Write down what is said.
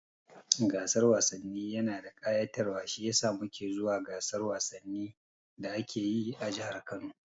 Gasan wasanni yana da kayatarwa shiyasa muke zuwa gasar wasannin da ake yi a jahar Kano